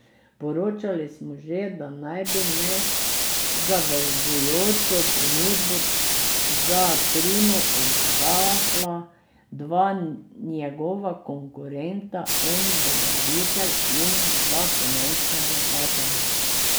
Poročali smo že, da naj bi nezavezujočo ponudbo za Trimo oddala dva njegova konkurenta, en dobavitelj in dva finančna vlagatelja.